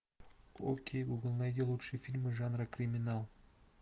окей гугл найди лучшие фильмы жанра криминал